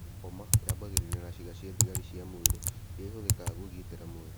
Lymphoma yambagĩrĩria na ciĩga cĩa thigari cia mwĩrĩ, irĩa ihuthĩkaga kugitira mwĩrĩ.